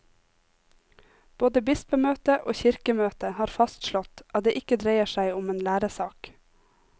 Både bispemøte og kirkemøte har fastslått at det ikke dreier seg om en læresak.